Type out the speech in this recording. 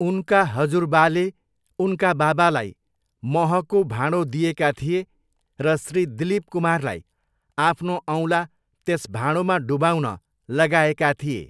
उनका हजुरबाले उनका बाबालाई महको भाँडो दिएका थिए र श्री दिलीप कुमारलाई आफ्नो औँला त्यस भाँडोमा डुबाउन लगाएका थिए।